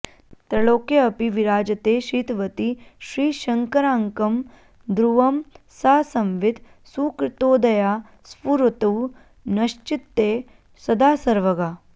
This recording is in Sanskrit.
त्रैलोक्येऽपि विराजते श्रितवती श्रीशंकराङ्कं ध्रुवं सा संवित् सुकृतोदया स्फुरतु नश्चित्ते सदा सर्वगा